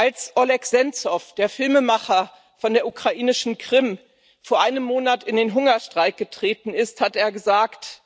Als Oleh Senzow, der Filmemacher von der ukrainischen Krim, vor einem Monat in den Hungerstreik getreten ist, hat er gesagt